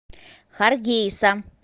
харгейса